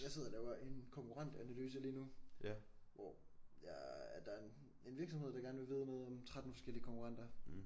Jeg sidder og laver en konkurrentanalyse lige nu hvor jeg der en en virksomhed der gerne vil vide noget om 13 forskellige konkurrenter